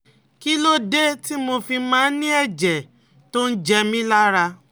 Kí ló dé tí mo fi máa ń ní ẹ̀jẹ̀ tó ń jẹ mí lára?